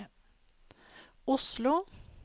Oslo